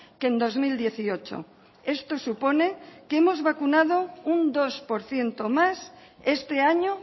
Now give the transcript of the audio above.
que en dos mil dieciocho esto supone que hemos vacunado un dos por ciento más este año